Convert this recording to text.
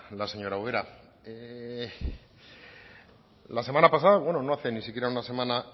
la señora ubera la semana pasada bueno no hace ni siquiera una semana